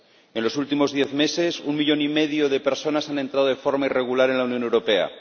En los últimos diez meses, un millón y medio de personas han entrado de forma irregular en la Unión Europea.